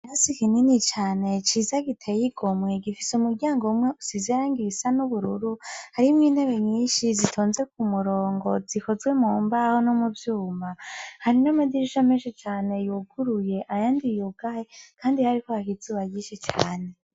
Rasi ikinini cane ciza giteyoigomuhe igifise umuryango wumwe usizirang ibisa n'ubururu harimwo intebe nyinshi zitonze ku murongo zikozwe mu mbaho no mu vyuma hari n'amadirisho ameshi cane yuguruye ayandi ugaye, kandi hariho ahakizubagishe cane.